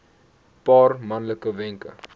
paar maklike wenke